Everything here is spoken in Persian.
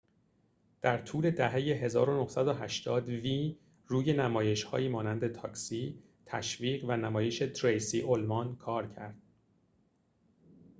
در طول دهه ۱۹۸۰ وی روی نمایش‌هایی مانند تاکسی تشویق و نمایش تریسی اولمان کار ‌کرد